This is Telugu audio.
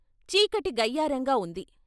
చీకటి గయ్యారంగా ఉంది.